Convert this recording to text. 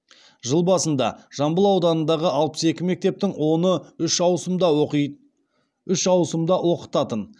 жыл басында жамбыл ауданындағы алпыс екі мектептің оны үш ауысымда оқытатын